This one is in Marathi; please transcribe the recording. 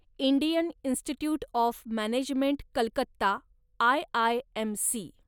Indian Institute of Management Calcutta, IIMC